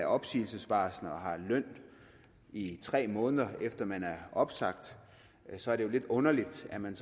opsigelsesvarsel og har løn i tre måneder efter at man er opsagt så er det jo lidt underligt at man